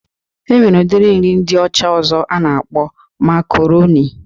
E nwere udiri nri ndị ọcha ọzọ a na-akpọ makaronị